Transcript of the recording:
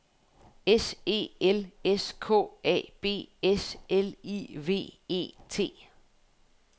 S E L S K A B S L I V E T